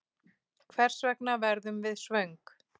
Hvers vegna verðum við svöng?